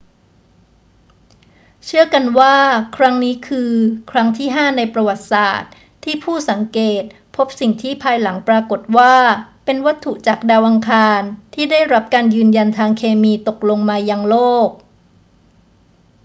เชื่อกันว่าครั้งนี้คือครั้งที่ห้าในประวัติศาสตร์ที่ผู้สังเกตพบสิ่งที่ภายหลังปรากฏว่าเป็นวัตถุจากดาวอังคารที่ได้รับการยืนยันทางเคมีตกลงมายังโลก